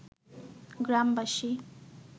গ্রামবাসী